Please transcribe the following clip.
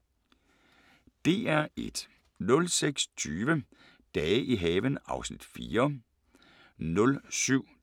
DR1